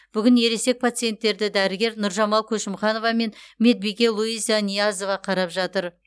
бүгін ересек пациенттерді дәрігер нұржамал көшімханова мен медбике луиза ниязова қарап жатыр